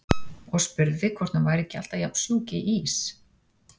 Og spurði hvort hún væri ekki alltaf jafn sjúk í ís.